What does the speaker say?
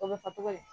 O bɛ fɔ cogo di